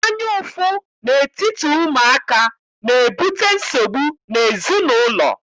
Anyaụfụ n'etiti ụmụaka na-ebute nsogbu n'ezinaụlọ.